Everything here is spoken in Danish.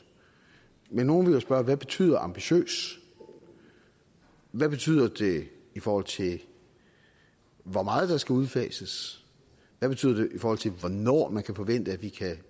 men nogle ville jo spørge hvad betyder ambitiøs hvad betyder det i forhold til hvor meget der skal udfases hvad betyder det i forhold til hvornår man kan forvente vi kan